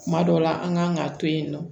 Kuma dɔw la an kan ka to yen nɔ